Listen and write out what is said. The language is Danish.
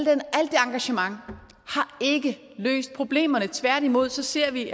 engagement har ikke løst problemerne tværtimod ser vi